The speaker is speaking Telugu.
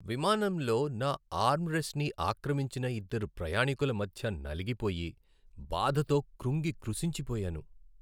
విమానంలో నా ఆర్మ్ రెస్ట్ని ఆక్రమించిన ఇద్దరు ప్రయాణీకుల మధ్య నలిగిపోయి, బాధతో క్రుంగి కృశించిపోయాను.